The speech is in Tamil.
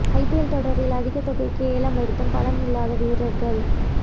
ஐபிஎல் தொடரில் அதிக தொகைக்கு ஏலம் எடுத்தும் பலன் இல்லாத வீரர்கள்